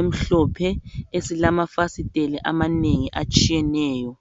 emhlophe esilamafasiteli amanengi atshiyeneyo.